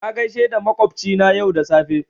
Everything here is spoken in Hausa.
Na gaisa da makwabci na yau da safe